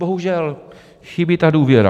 Bohužel - chybí ta důvěra.